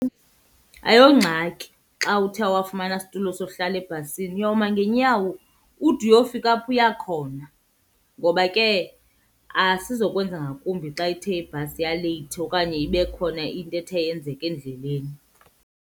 Ayongxaki xa uthe awafumana situlo sohlala ebhasini uyawuma ngeenyawo ude uyofika apho uya khona ngoba ke asizokwenza ngakumbi xa ithe ibhasi yaleyithi okanye ibe khona into ethe yenzeka endleleni.